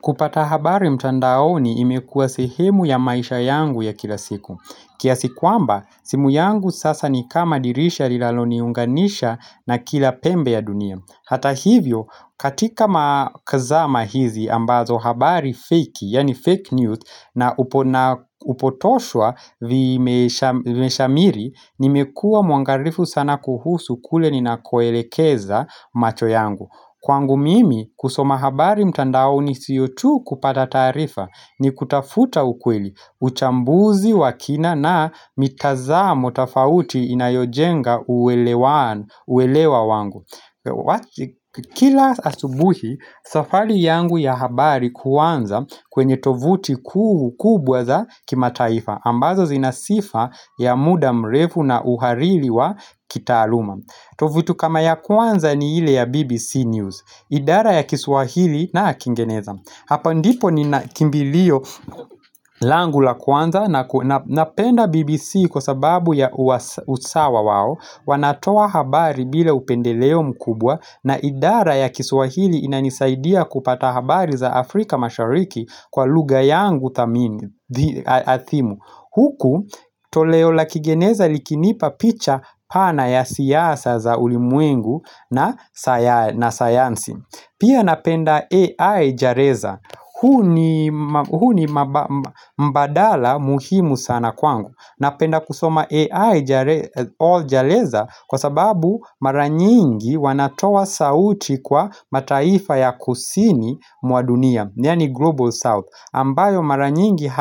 Kupata habari mtandaoni imekuwa sehemu ya maisha yangu ya kila siku. Kiasi kwamba, simu yangu sasa ni kama dirisha lilaloniunganisha na kila pembe ya dunia. Hata hivyo, katika nzama hizi ambazo habari feki, yaani fake news na upotoshwa vimeshamiri, nimekuwa mwangalifu sana kuhusu kule ninakoelekeza macho yangu. Kwangu mimi kusoma habari mtandaoni siyo tu kupata taarifa ni kutafuta ukweli uchambuzi wakina na mitazamo tafauti inayojenga uelewa wangu Kila asubuhi safari yangu ya habari kuanza kwenye tovuti kubwa za kimataifa ambazo zinasifa ya muda mrefu na uhariri wa kitaaluma tovuti kama ya kwanza ni ile ya BBC News idara ya kiswahili na kingereza Hapa ndipo nina kimbilio langu la kwanza na penda BBC kwa sababu ya usawa wao wanatoa habari bila upendeleo mkubwa na idara ya kiswahili inanisaidia kupata habari za Afrika mashariki Kwa lugha yangu adhimu Huku toleo la kingeneza likinipa picha pana ya siasa za ulimwengu na sayansi Pia napenda AI jareza huu ni mbadala muhimu sana kwangu Napenda kusoma AI jareza Kwa sababu maranyingi wanatoa sauti kwa mataifa ya kusini mwa muadunia yaanini Global South ambayo maranyingi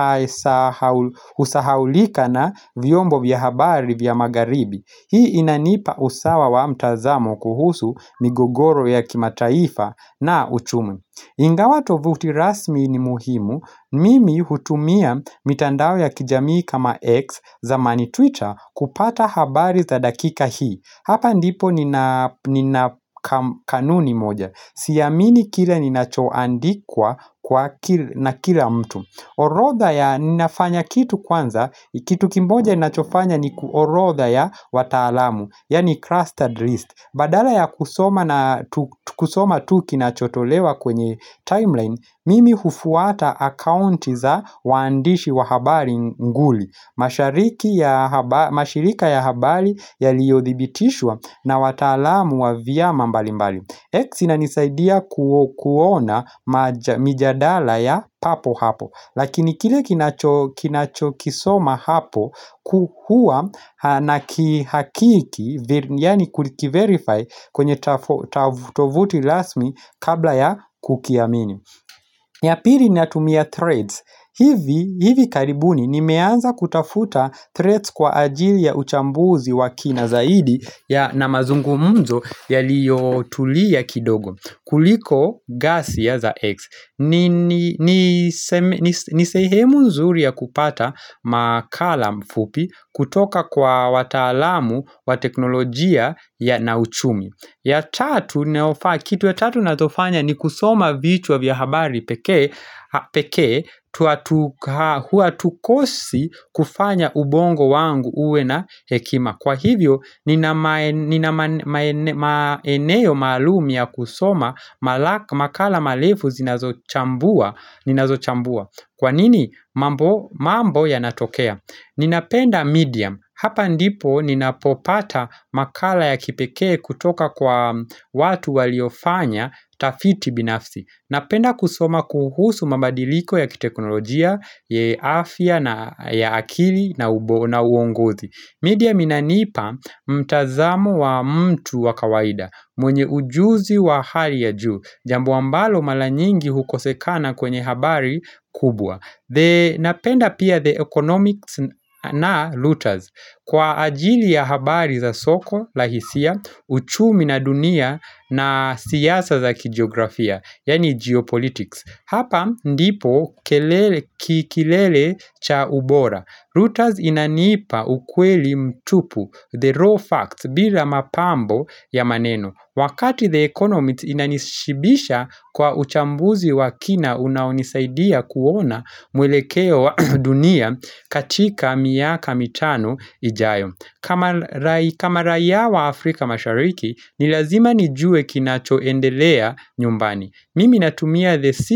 husahaulika na vyombo vya habari vya magaribi Hii inanipa usawa wa mtazamo kuhusu ni gogoro ya kimataifa na uchumi Ingawa tovuti rasmi ni muhimu, mimi hutumia mitandao ya kijamii kama X zamani Twitter kupata habari za dakika hii. Hapa ndipo ni na kanuni moja. Siamini kile ni nachoandikwa na kila mtu. Orodha ya ninafanya kitu kwanza, kitu kimoja ninachofanya ni kuorodha ya wataalam, yaani trusted list. Badala ya kusoma tu kinachotolewa kwenye timeline, mimi hufuata account za wandishi wa habari nguli, mashirika ya habari yaliyothibitishwa na watalamu wa vya mbali mbali. X inanisaidia kuona mijadala ya papo hapo Lakini kile ninachokisoma hapo huwa nakihakiki Yaani kukiverify kwenye tovuti rasmi kabla ya kukiamini ya pili natumia threads hivi karibuni nimeanza kutafuta threads kwa ajili ya uchambuzi wa kina zaidi ya na mazungumzo yaliyo tulia kidogo. Kuliko ghasia za x. Ni sehemu nzuri ya kupata makala fupi kutoka kwa wataalamu wa teknolojia na uchumi. Ya tatu, kitu ya tatu nachofanya ni kusoma vitu wa vya habari pekee hatukosi kufanya ubongo wangu huwe na hekima. Kwa hivyo nina maeneo maalum ya kusoma makala marefu zinazo chambua Kwanini mambo ya natokea Ninapenda medium Hapa ndipo ninapopata makala ya kipekee kutoka kwa watu waliofanya tafiti binafsi Napenda kusoma kuhusu mabadiliko ya kiteknolojia ya afya ya akili na uongozi Medium inanipa mtazamo wa mtu wa kawaida, mwenye ujuzi wa hali ya juu, jambu ambalo maranyingi hukosekana kwenye habari kubwa. Napenda pia The Economics na Looters, kwa ajili ya habari za soko lahisia, uchumi na dunia na siasa za kijiografia, yani geopolitics. Hapa ndipo kilele cha ubora. Looters inanipa ukweli mtupu, the raw facts, bila mapambo ya maneno. Wakati the economy inanishibisha kwa uchambuzi wa kina unaonisaidia kuona mwelekeo wa dunia katika miaka mitanu ijayo. Kama raia wa Afrika mashariki, ni lazima nijue kinachoendelea nyumbani. Mimi natumia the city.